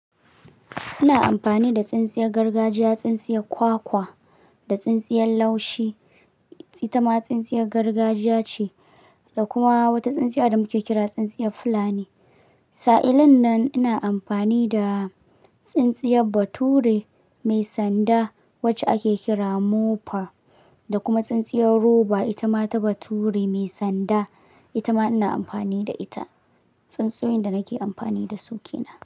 Ina amfani da tsintsiyar gargajiya, tsintsiyar kwakwa da tsintsiyar laushi. Ita ma tsintsiyar gargajiya ce da kuma wata tsintsiya da muke kira tsintsiyar fulani. Sa'ilin nan ina amfani da tsintsiyar bature mai sanda wacce ake kira moper da kuma tsintsiyar roba. Ita ma ta bature mai sanda. Ita ma ina amfani da ita. Tsintsoyin da nake amfani da su ke nan.